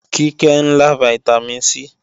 Kíkẹ́ ń lá Vitamin C